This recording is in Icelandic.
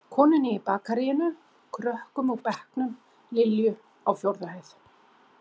Konunni í bakaríinu, krökkum úr bekknum, Lilju á fjórðu hæð.